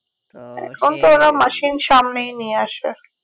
machine সামনেই নিয়ে আসবে